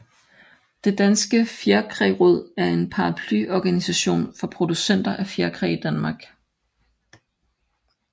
Det Danske Fjerkræraad er en paraplyorganisation for producenter af fjerkræ i Danmark